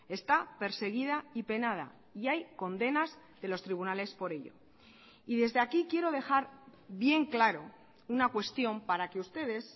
está perseguida y penada y hay condenas de los tribunales por ello y desde aquí quiero dejar bien claro una cuestión para que ustedes